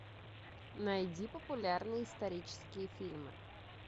найди популярные исторические фильмы